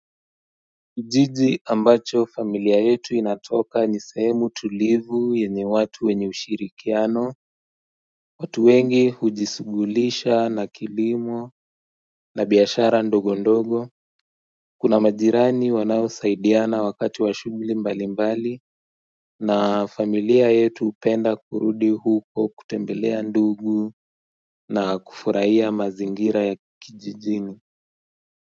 Kijiji ambacho familia yetu inatoka ni sehemu tulivu yenye watu wenye ushirikiano watu wengi hujishughulisha na kilimo na biashara ndogo ndogo Kuna majirani wanaosaidiana wakati wa shughuli mbalimbali na familia yetu hupenda kurudi huko kutembelea ndugu na kufurahia mazingira ya kijijini.